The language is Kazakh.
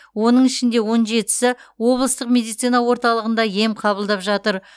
оның ішінде он жетісі облыстық медицина орталығында ем қабылдап жатыр